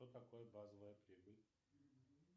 что такое базовая прибыль